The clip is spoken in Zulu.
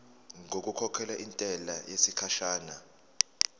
ngokukhokhela intela yesikhashana